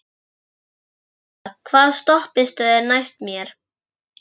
Silla, hvaða stoppistöð er næst mér?